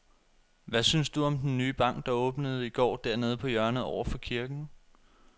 Hvad synes du om den nye bank, der åbnede i går dernede på hjørnet over for kirken?